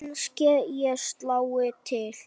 Kannske ég slái til.